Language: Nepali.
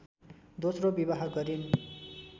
दोस्रो विवाह गरिन्